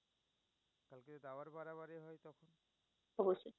অবশ্যই।